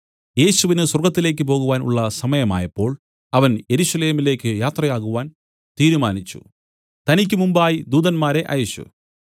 യേശുവിനു സ്വർഗ്ഗത്തിലേക്ക് പോകുവാൻ ഉള്ള സമയമായപ്പോൾ അവൻ യെരൂശലേമിലേക്കു യാത്രയാകുവാൻ തീരുമാനിച്ചു തനിക്കുമുമ്പായി ദൂതന്മാരെ അയച്ചു